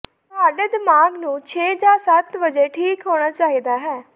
ਤੁਹਾਡੇ ਦਿਮਾਗ ਨੂੰ ਛੇ ਜਾਂ ਸੱਤ ਵਜੇ ਠੀਕ ਹੋਣਾ ਚਾਹੀਦਾ ਹੈ